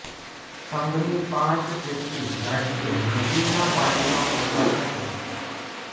સંઘની પાંચ જેટલી ગાડીઓ નદીના પાણીમાં ફસાઈ હતી